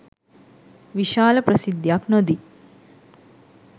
විශාල ප්‍රසිද්ධියක් නොදී